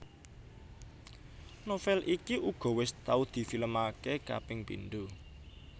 Novel iki uga wis tau di film aké kaping pindho